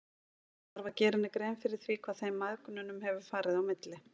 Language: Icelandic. Hann þarf að gera henni grein fyrir því hvað þeim mæðginum hefur farið á milli.